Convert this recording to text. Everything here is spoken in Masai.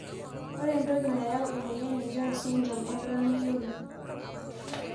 Ore entoki nayau emoyian e jones syndrome eton meyioloi.